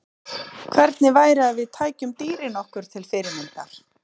Hvernig væri að við tækjum dýrin okkur til fyrirmyndar?